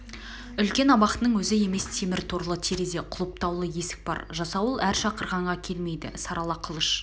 үлкен абақтының өзі емес темір торлы терезе құлыптаулы есік бар жасауыл әр шақырғанға келмейді сарала қылыш